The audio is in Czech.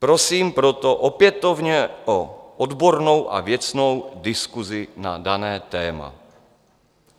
Prosím proto opětovně o odbornou a věcnou diskusi na dané téma.